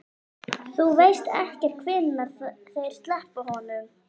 Þú veist ekkert hvenær þeir sleppa honum?